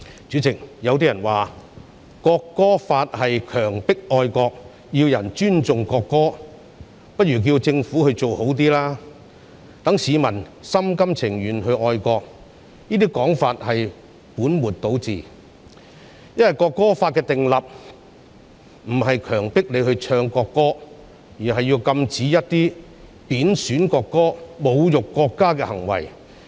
主席，有人說《國歌法》是強迫愛國，與其要人尊重國歌，不如叫政府做好一點，令市民心甘情願地愛國，這種說法是本末倒置，因為《國歌法》的訂立並非為了強迫人唱國歌，而是要禁止貶損國歌、侮辱國家的行為。